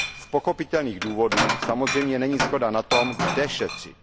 Z pochopitelných důvodů samozřejmě není shoda na tom, kde šetřit.